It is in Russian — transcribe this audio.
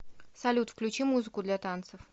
салют включи музыку для танцев